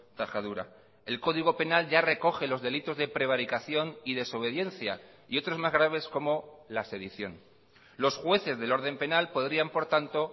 tajadura el código penal ya recoge los delitos de prevaricación y desobediencia y otros más graves como la sedición los jueces del orden penal podrían por tanto